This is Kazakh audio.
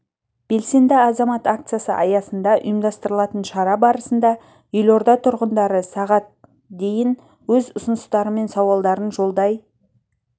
белсенді азамат акциясы аясында ұйымдастырылатын шара барысында елорда тұрғындары сағат дейін өз ұсыныстары мен сауалдарын жолдай